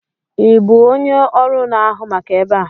Ị bụ onye ọrụ na-ahụ maka ebe a?